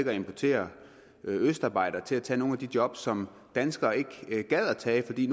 at importere østarbejdere til at tage nogle af de job som danskere ikke gad at tage fordi